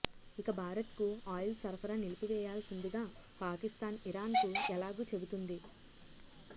ఇక భారత్కు ఆయిల్ సరఫరా నిలిపివేయాల్సిందిగా పాకిస్తాన్ ఇరాన్కు ఎలాగూ చెబుతుంది